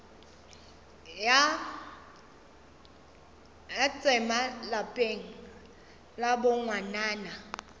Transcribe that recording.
ya tsema lapeng la bongwanana